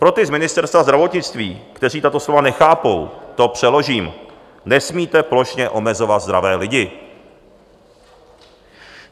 Pro ty z Ministerstva zdravotnictví, kteří tato slova nechápou, to přeložím: nesmíte plošně omezovat zdravé lidi.